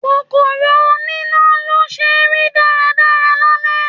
Kòkòrò oní ná ló ṣe rí dára dára lálẹ́.